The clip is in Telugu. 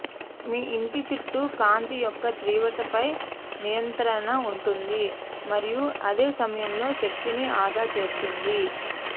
మీ ఇంటి చుట్టూ కాంతి యొక్క తీవ్రతపై నియంత్రణ ఉంటుంది మరియు అదే సమయంలో శక్తిని ఆదా చేస్తుంది